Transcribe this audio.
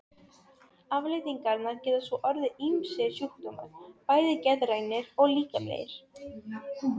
Afleiðingarnar geta svo orðið ýmsir sjúkdómar, bæði geðrænir og líkamlegir.